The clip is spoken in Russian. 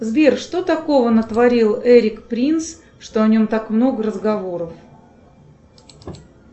сбер что такого натворил эрик принс что о нем так много разговоров